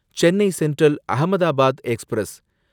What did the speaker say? Chennai central Ahmedabad express